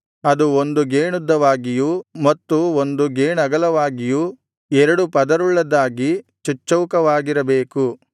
ಅದು ಒಂದು ಗೇಣುದ್ದವಾಗಿಯೂ ಮತ್ತು ಒಂದು ಗೇಣಗಲವಾಗಿಯೂ ಎರಡು ಪದರುಳ್ಳದ್ದಾಗಿ ಚಚ್ಚೌಕವಾಗಿರಬೇಕು